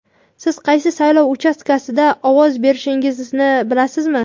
Siz qaysi saylov uchastkasida ovoz berishingizni bilasizmi?.